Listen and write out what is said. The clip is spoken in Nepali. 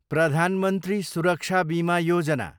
प्रधान मन्त्री सुरक्षा बीमा योजना